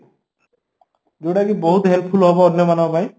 ଯୋଉଁଟାକି ବହୁତ helpful ହବ ଅନ୍ୟମାନଙ୍କ ପାଇଁ